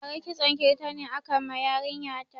Bara kitson kirtani aka ma yarin ya ta